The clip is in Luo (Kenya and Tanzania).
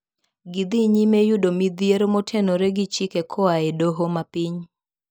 Gidhinyime yudo midhiero motenore gichike koae doho mapiny.